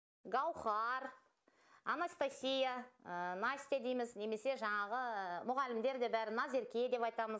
гаухар анастасия настя дейміз немесе жаңағымұғалімдер де бәрі назерке деп айтамыз